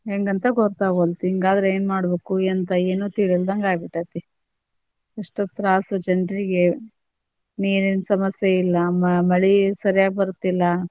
ಹೆಂಗ ಅಂತ ಗೊತ್ತಾಗವಲ್ದು ಹಿಂಗಾದ್ರ ಏನ್ ಮಾಡ್ಬೇಕ್ ಎಂತ ಏನು ತಿಳಿಯಲ್ದಂಗ ಆಗ್ಬಿಟ್ಟೆತಿ ಎಷ್ಟ್ ತ್ರಾಸ್ ಜನರಿಗೇ ನೀರಿನ ಸಮಸ್ಯೆ ಇಲ್ಲಾ ಮಳಿ ಸರಿಯಾಗಿ ಬರ್ತಿಲ್ಲ.